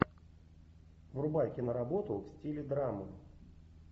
врубай киноработу в стиле драмы